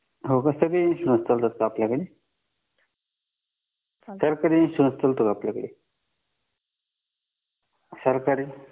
हो का सगळे इन्शुरन्स चालतात का आपल्याकडे सरकारी इन्शुरन्स चालतो का आपल्याकडे सरकारी